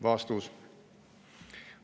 " Vastus.